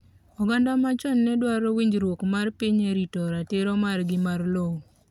oganda machon ne dwaro winjruok mar piny e rito ratiro margi ma lowo